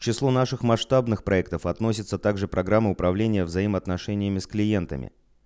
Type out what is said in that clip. число наших масштабных проектов относится также программа управления взаимоотношениями с клиентами